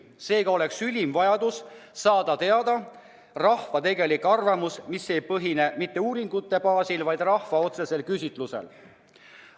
Seega on ülim vajadus saada teada rahva tegelik arvamus, mis ei põhine mitte uuringute andmetel, vaid rahvalt otse küsimisel.